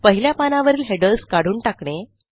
पहिल्या पानावरील हेडर्स काढून टाकणे